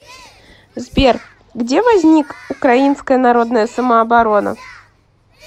сбер где возник украинская народная самооборона